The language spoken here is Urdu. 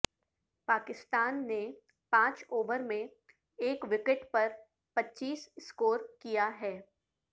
پاکستان نے پانچ اوور میں ایک وکٹ پر پچیس سکور کیا ہے